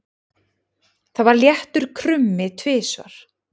Það var léttur krummi tvisvar.